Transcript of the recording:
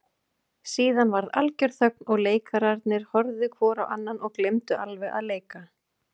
Síðan varð algjör þögn og leikararnir horfðu hvor á annan og gleymdu alveg að leika.